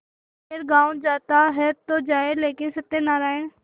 खैर गॉँव जाता है तो जाए लेकिन सत्यनारायण